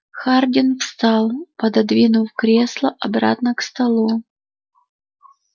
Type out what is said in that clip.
хардин встал пододвинув кресло обратно к столу